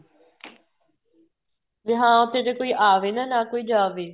ਵੀ ਹਾਂ ਉੱਥੇ ਜ਼ੇ ਕੋਈ ਆਵੇ ਨਾ ਨਾ ਕੋਈ ਜਾਵੇ